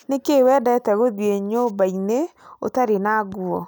Nĩkĩ wendete gũthiĩ nyũmba-inĩ ũtarĩ na nguo